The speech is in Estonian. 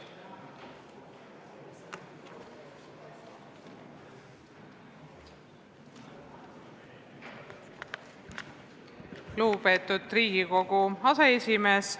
Lugupeetud Riigikogu aseesimees!